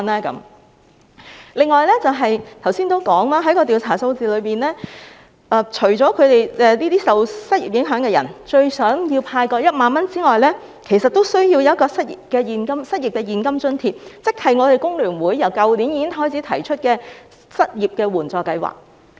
此外，我剛才也提到，從調查數字中可見，除了受失業影響的人最想獲派發1萬元外，其實他們也需要當局提供失業現金津貼，即工聯會於去年已提出的失業援助計劃。